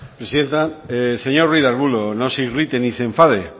presidenta señor ruíz de arbulo no se irrite ni se enfade